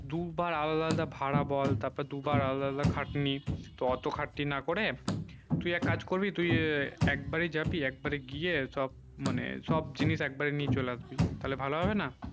দু বার আলাদা আলাদা ভাড়া বল দু বার আলাদা আলাদা খাটনি তো অটো খাটনি না করে তুই এক কাজ করবি তুই একবারই জাবি একবারই গিয়ে সব মানে সব জিনিস এক বারই নিয়ে চলে আসবি তালে ভালো হবে না